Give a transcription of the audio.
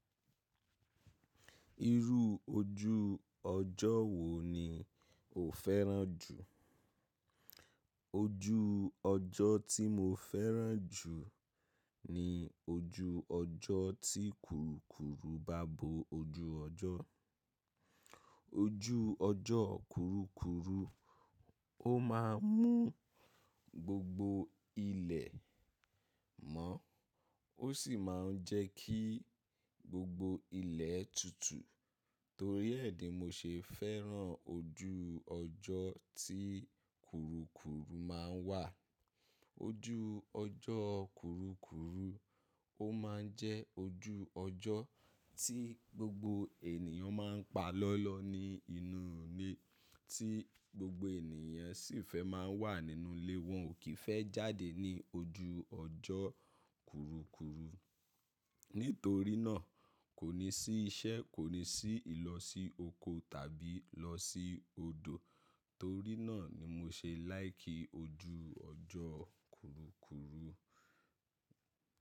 Irú ojú ọjọ́ wo ni o fẹ́ràn jù? Ojú ọjọ́ tí mo fẹ́ràn jù ni ojú ọjọ́ tí kurukuru bá bo ojú ọjọ́. Ojú ọjọ́ kurukuru, ó máa ń mú gbogbo ilẹ̀ mọ́, ó sì máa ń jẹ́ kí gbogbo ilẹ̀ tutù. Torí ẹ́ di mo ṣe fẹ́ràn ojú ọjọ́ tí kurukuru máa ń wà. Ojú ọjọ́ kurukuru, ó máa ń jẹ́ ojú ọjọ́ tí gbogbo ènìyàn máa ń pa lọ́lọ́ ni inú ilé, tí gbogbo ènìyàn sì fẹ́ máa ń wà nínú ilé wọn, ò kí ń fẹ́ jáde ní ojú ọjọ́ kurukuru. Nítorí náà, kò ní sí iṣẹ́, kò ní sí ìlọ sí oko tàbí lọ sí odò. Torí náà ni mo ṣe láìkì ojú ọjọ́ kurukuru.